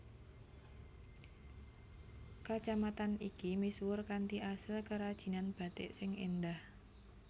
Kacamatan iki misuwur kanthi asil kerajinan batik sing éndah